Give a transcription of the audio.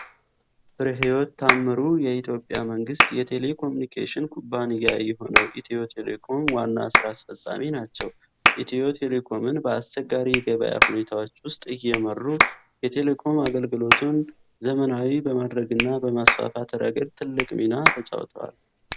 ፍሬሕይወት ታምሩ የኢትዮጵያ መንግሥት የቴሌኮምዩኒኬሽን ኩባንያ የሆነው ኢትዮ ቴሌኮም ዋና ሥራ አስፈፃሚ ናቸው። ኢትዮ ቴሌኮምን በአስቸጋሪ የገበያ ሁኔታዎች ውስጥ እየመሩ፣ የቴሌኮም አገልግሎትን ዘመናዊ በማድረግና በማስፋፋት ረገድ ትልቅ ሚና ተጫውተዋል።